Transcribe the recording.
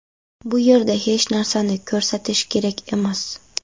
Bu yerda hech narsani ko‘rsatish kerak emas.